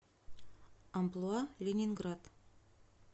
амплуа ленинград